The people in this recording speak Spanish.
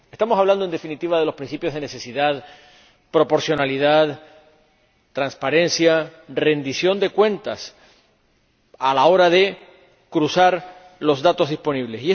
Estamos hablando, en definitiva, de los principios de necesidad, proporcionalidad, transparencia, rendición de cuentas a la hora de cruzar los datos disponibles.